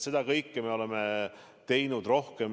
Seda kõike me oleme teinud rohkem.